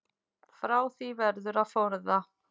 Frá því verður að forða.